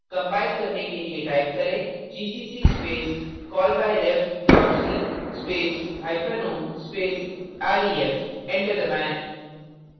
compile करने के लिए type करें gcc space callbyref dot c space hyphen o space ref enter दबाएँ